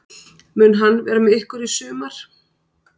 Mun hann vera með ykkur í sumar?